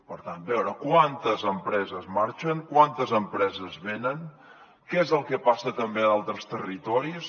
per tant veure quantes empreses marxen quantes empreses venen què és el que passa també a d’altres territoris